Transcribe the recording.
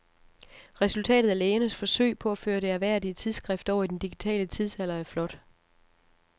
Resultatet af lægernes forsøg på at føre det ærværdige tidsskrift over i den digitale tidsalder er flot.